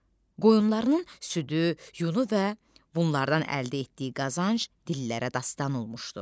qoyunlarının südü, yunu və bunlardan əldə etdiyi qazanc dillərə dastan olmuşdu.